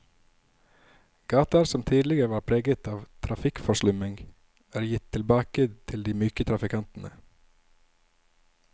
Gater som tidligere var preget av trafikkforslumming, er gitt tilbake til de myke trafikantene.